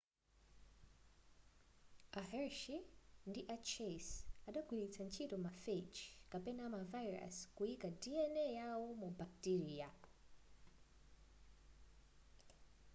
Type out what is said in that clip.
a hershey ndi a chase adagwilitsa ntchito ma phage kapena ma virus kuyika dna yawo mu bacteria